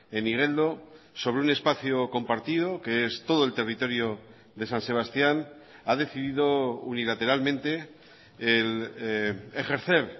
en igeldo sobre un espacio compartido que es todo el territorio de san sebastián ha decidido unilateralmente ejercer